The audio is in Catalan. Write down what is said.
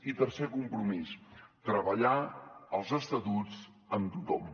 i tercer compromís treballar els estatuts amb tothom